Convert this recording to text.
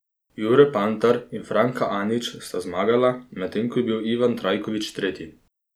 Jure Pantar in Franka Anić sta zmagala, medtem ko je bil Ivan Trajković tretji.